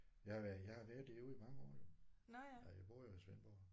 Jeg har været jeg har været derude i mange år jo. Ej jeg bor jo i Svendborg